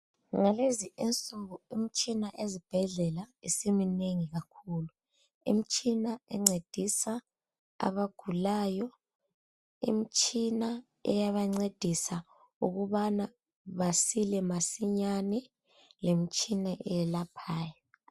Ngalezi insuku imtshina ezibhedlela isiminengi kakhulu, imtshina encedisa abagulayo, imtshina eyabancedisa ukubana basile masinyana lemtshina eyelaphayo.